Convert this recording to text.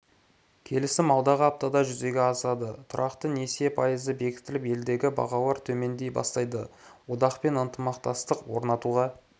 келісім алдағы аптада жүзеге асады тұрақты несие пайызы бекітіліп елдегі бағалар төмендей бастайды одақпен ынтымақтастық орнатуға